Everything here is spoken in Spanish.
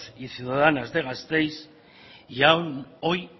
y ciudadanas de gasteiz y aún hoy